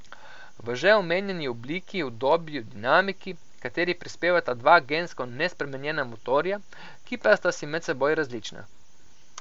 V že omenjeni obliki, udobju, dinamiki, h kateri prispevata dva gensko nespremenjena motorja, ki pa sta si med seboj različna.